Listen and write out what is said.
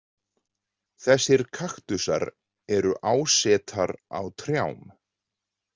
Þessir kaktusar eru ásetar á trjám.